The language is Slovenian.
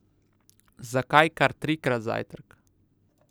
Zakaj kar trikrat zajtrk?